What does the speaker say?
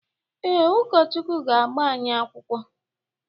Ee, ụkọchukwu ga-agba anyị akwụkwọ.